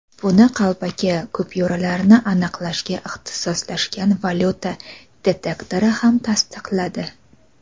buni qalbaki kupyuralarni aniqlashga ixtisoslashgan valyuta detektori ham tasdiqladi.